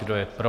Kdo je pro?